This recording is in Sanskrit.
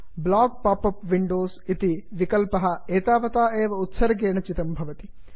block pop up windows block pop up windows इति विकल्पः एतावता एव उत्सर्गेण चितं भवति